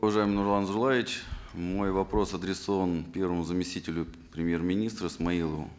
уважаемый нурлан зайроллаевич мой вопрос адресован первому заместителю премьер министра смаилову